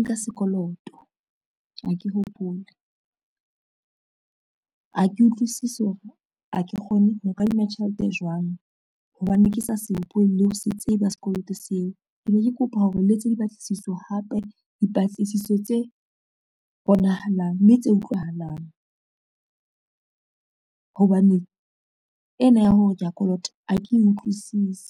nka sekoloto, ha ke hopole. Ha ke utlwisisi hore ha ke kgone ho kadima tjhelete jwang hobane ke sa se hopole le ho se tseba sekoloto seo. Ke ne ke kopa hore le etse dipatlisiso hape dipatlisiso tse bonahalang, mme tse utlwahalang hobane ena ya hore kea kolota ha ke utlwisise.